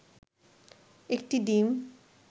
একটি ডিম